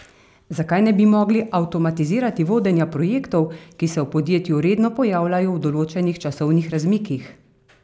Zakaj ne bi mogli avtomatizirati vodenja projektov, ki se v podjetju redno pojavljajo v določenih časovnih razmikih?